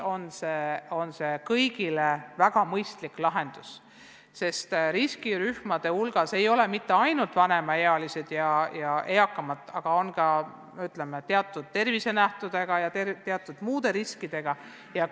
See on kõigi jaoks väga mõistlik lahendus, sest riskirühmade hulgas ei ole mitte ainult vanemaealised, vaid on ka teatud tervise- ja muude riskidega inimesi.